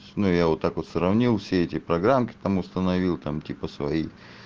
ну я вот так вот сравнил все эти программы там установил там типа свои